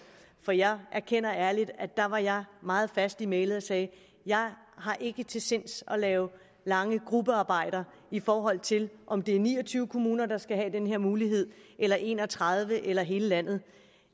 og jeg erkender ærligt at der var jeg meget fast i mælet og sagde jeg har ikke til sinds at lave lange gruppearbejder i forhold til om det er ni og tyve kommuner der skal have den her mulighed eller en og tredive eller hele landet